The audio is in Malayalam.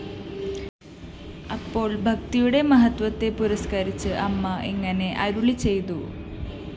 അപ്പോള്‍ ഭക്തിയുടെ മഹത്വത്തെ പുരസ്‌കരിച്ച് അമ്മ ഇങ്ങനെ അരുളിചെയ്തു